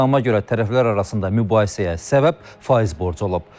İttihama görə tərəflər arasında mübahisəyə səbəb faiz borcu olub.